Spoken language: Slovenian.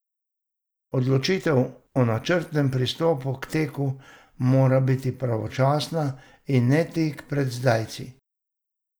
Odločitev o načrtnem pristopu k teku mora biti pravočasna, in ne tik pred zdajci.